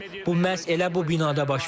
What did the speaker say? Bu məhz elə bu binada baş verib.